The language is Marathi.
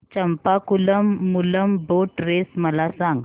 चंपाकुलम मूलम बोट रेस मला सांग